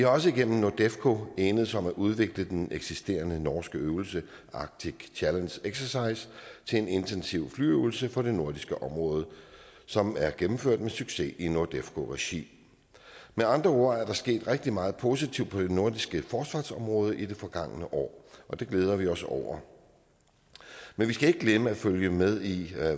også igennem nordefco enedes om at udvikle den eksisterende norske øvelse arctic challenge exercise til en intensiv flyøvelse for det nordiske område som er gennemført med succes i nordefco regi med andre ord er der sket rigtig meget positivt på det nordiske forsvarsområde i det forgangne år og det glæder vi os over men vi skal ikke glemme at følge med i